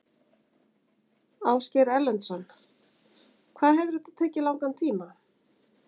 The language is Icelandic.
Ásgeir Erlendsson: Hvað hefur þetta tekið langan tíma?